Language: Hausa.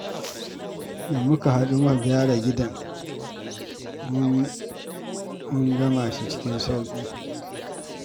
Da muka haɗu muka gyara gidan ga shi mun gama cikin sauƙi